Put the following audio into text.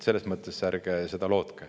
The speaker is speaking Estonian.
Seda ärge lootke.